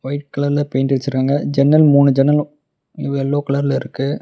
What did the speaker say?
White கலர்ல paint அடிச்சுருக்காங்க ஜன்னல் மூணு ஜன்னலும் எல்லோ கலர்ல இருக்கு.